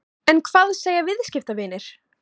En hvað segja viðskiptavinir?